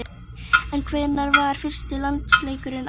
En hvenær var fyrsti landsleikurinn háður?